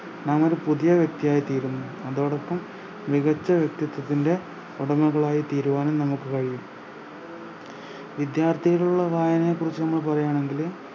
നാമൊരു പുതിയ വ്യക്തിയായി തീരുന്നു അതോടൊപ്പം മികച്ച വ്യക്തിത്വത്തിൻറെ ഉടമകളായിത്തീരുവാനും നമുക്ക് കഴിയും വിദ്യാർഥികളോടുള്ള വായനയെകുറിച്ച് നമ്മൾ പറയാണെങ്കില്